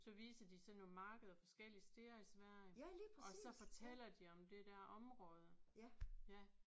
Så viste de sådan nogle markeder forskellige steder i Sverige og så fortæller de om det der område ja